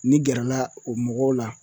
N'i gɛrɛla o mɔgɔw la